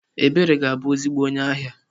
Ebere ga-abu ezigbo onye ahia.